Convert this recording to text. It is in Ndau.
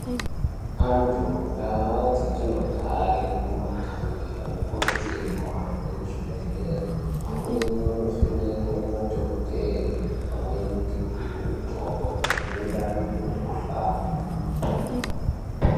Antu muntaa dzatinogare nemumagange anokurudzirwe kuhambe kuzvibhedhlere, amweni onovhenekwe nemadhokodheye, amweni nekupihwe mitombo inoenderana ngemikhuhlani.